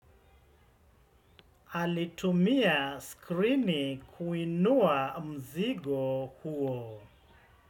Alitumia skrini kuinua mzigo huo.